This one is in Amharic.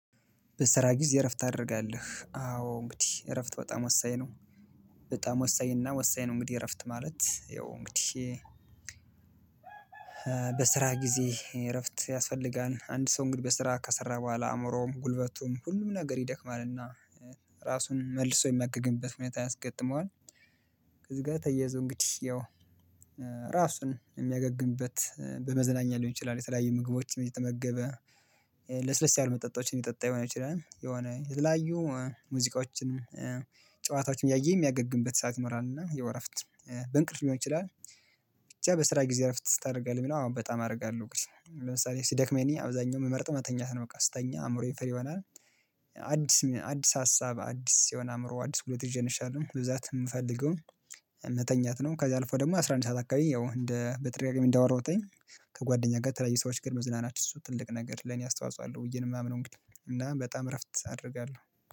በስራ ጊዜ እረፍት ታደርጋለህ አዎ እንግዲህ እረፍት በጣም ወሳኝ ነው። በጣም ወሳኝ እና ወሳኝ ነው። እንግዲህ እረፍት ማለት ያው እንግዲህ በስራ ጊዜ እረፍት ያስፈልጋል አንድ ሰው እንግዲህ በስራ ከሰራ በኋላ አእምሮውም ጉልበቱም ሁሉም ነገር ይደክማልና ራሱን መልሶ የሚያገግምበት ሁኔታ ያስገጥመዋል። ከዚህ ጋር ተያይዞ እንግዲህ ያው ራሱን የሚያገግምበት በመዘናኛ ሊሆን ይችላል። የተለያየ ምግቦችን እየተመገበ ለስለስ ያሉ መጠጣቶችን ይጠጣ የሆን ይችላል የሆነ ላዩ ሙዚቃዎችን ጨዋታዎችን እያየ የሚያገግምበት ሰዓት ይኖራል። እና ያው እረፍት በእንቅልፍ ሊሆን ይችላል። ብቻ በስራ ጊዜ እረፍት ታደርጋለህ ምናምን በጣም አደርጋለሁ ግን ለምሳሌ ሲደክመኝ አብዛኛው የምመርጠው መተኛት ነው በቃ ስተኛ አይሙረዬን ፍሪ ይሆናል። አዲስ አዲስ ሀሳብ አዲስ የሆነ አእምሮ አዲስ ጉልቦት ይዤ እንሸለው ብዛት የምፈልገው መተኛት ነው። ከዛ አልፎ ደግሞ አስራ አንድ ሰዓት አካባቢ ያው እንደ በተደጋጋሚ እንዳወራሁትኝ ከጓደኛ ጋር ተለያዩ ሰዎች ጋር መዝናናት እሱ ትልቅ ነገር ለኔ አስተዋጽኦ አለው ብዬ ነው የማምነው። እንግዲህ እና በጣም እረፍት አደርጋለሁ